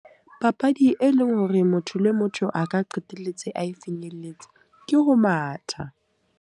Papadi e leng hore motho le motho a ka qetelletse ae finyeletse, ke ho matha.